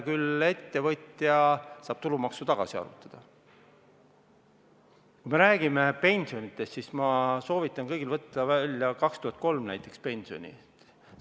Kui me räägime pensionidest, siis ma soovitan kõigil võtta välja näiteks pensioni aastal 2003.